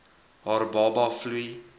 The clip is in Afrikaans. haar baba vloei